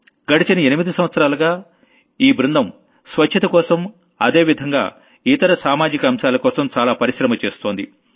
గడచిన ఎనిమిది సంవత్సరాలుగా ఈ టీమ్ స్వచ్ఛతకోసం అదే విధంగా ఇతర సామాజిక అంశాలకోసం చాలా పరిశ్రమ చేస్తోంది